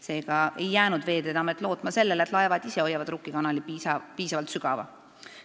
Seega ei jäänud Veeteede Amet lootma sellele, et laevad ise hoiavad Rukki kanali piisavalt sügava.